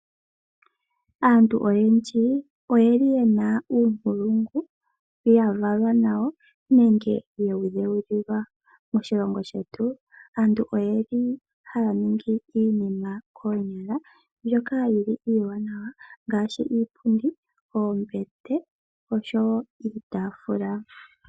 Aantu oyendji oyeli yena uunkulungu ya valwa nawo nenge yewu dhewulilwa. Moshilongo shetu aantu oyeli haya ningi iinima mbyoka yili iiwanawa ngaashi, iipundi, oombete oshowo iitaafula